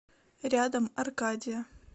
рядом аркадия